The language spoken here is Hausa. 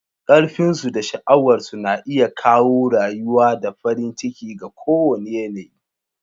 Ƙarfinsu da sha'awarsu na iya kawo rayuwa da farin ciki ga kowane yanayi.